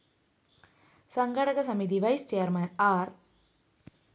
സംഘാടക സമിതി vice chairman ആര്‍